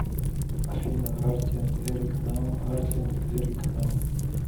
афина арти энд эрик нам арти и эрик нам